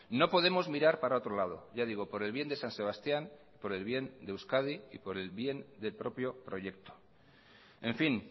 no podemos mirar para otro lado ya digo por el bien de san sebastián por el bien de euskadi y por el bien del propio proyecto en fin